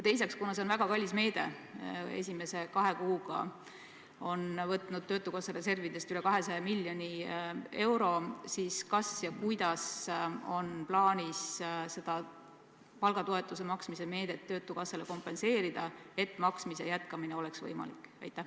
Teiseks, kuna see on väga kallis meede – esimese kahe kuuga on töötukassa reservidest võetud üle 200 miljoni euro –, siis kuidas on plaanis seda palgatoetuse maksmise meedet töötukassale kompenseerida, et maksmise jätkamine oleks võimalik?